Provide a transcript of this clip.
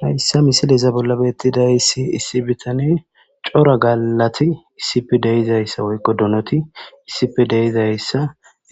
Hayssa misileza bolla beeththidayssi issi bithanee cora gaallathi issipe de7izayssi woykko donothi issipe de7izayssa